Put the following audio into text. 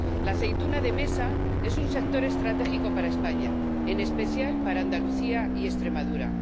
La aceituna de mesa es un sector estratégico para España, en especial para Andalucía y Extremadura.